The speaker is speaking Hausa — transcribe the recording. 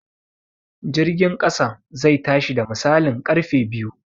Jirgin ƙasan zai tashi da misalin ƙarfe biyu